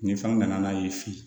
Nin fɛnw nana n'a ye fin